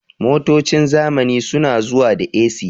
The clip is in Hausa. Motocin zamani su na zuwa da "A.C"